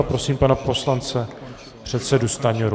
A prosím pana poslance předsedu Stanjuru.